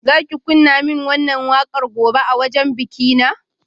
Za ki kunna min wannan wakar gobe a wajen bikina?